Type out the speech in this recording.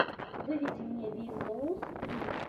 выведи мне ви соус фри